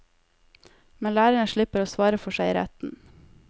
Men lærerne slipper å svare for seg i retten.